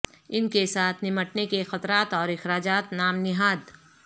ان کے ساتھ نمٹنے کے خطرات اور اخراجات نام نہاد